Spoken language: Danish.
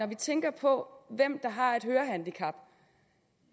vi tænker på hvem der har et hørehandicap